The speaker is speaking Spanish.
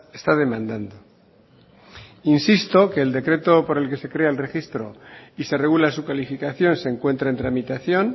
está demandando insisto que el decreto por el que se crea el registro y se regula su calificación se encuentra en tramitación